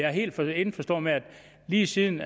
er helt indforstået med at lige siden